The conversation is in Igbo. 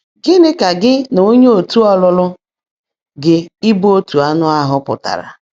Gị́ní kà gị́ nà óńyé ọ̀tú́ ọ́lụ́lụ́ gị́ ị́bụ́ ‘ótú áńụ́ áhú́’ pụ́tárá?